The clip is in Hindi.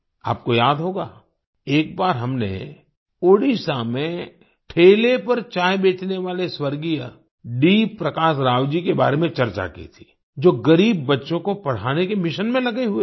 आपको याद होगा एक बार हमने ओडिशा में ठेले पर चाय बेचने वाले स्वर्गीय डी प्रकाश राव जी के बारे में चर्चा की थी जो गरीब बच्चों को पढ़ाने के मिशन में लगे हुए थे